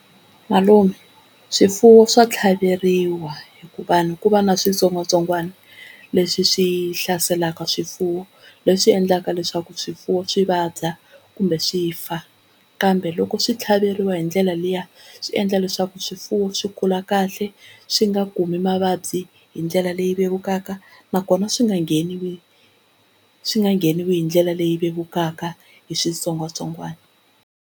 Malume swifuwo swa tlhaveriwa hikuva ku va na switsongwatsongwana leswi swi hlaselaka swifuwo leswi endlaka leswaku swifuwo swi vabya kumbe swi fa, kambe loko swi tlhaveliwa hi ndlela liya swi endla leswaku swifuwo swi kula kahle swi nga kumi mavabyi hi ndlela leyi vevukaka nakona swi nga ngheniwi swi nga ngheniwi hi ndlela leyi vevukaka hi switsongwatsongwana.